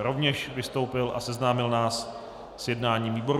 rovněž vystoupil a seznámil nás s jednáním výboru.